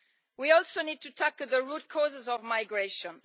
We also need to tackle the root causes of migration.